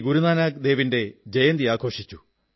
ഗുരുനാനക് ദേവിന്റെ ജയന്തി ആഘോഷിച്ചു